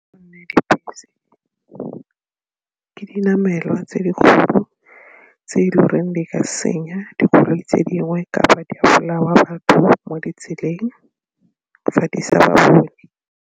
Ke dinamelwa tse dikgolo tse e le goreng di ka senya dikoloi tse dingwe kapa di bolaya batho mo ditseleng fa di sa ba bone.